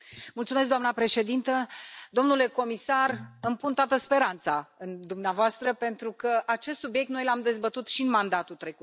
Doamnă președintă, domnule comisar, îmi pun toată speranța în dumneavoastră pentru că acest subiect noi l am dezbătut și în mandatul trecut.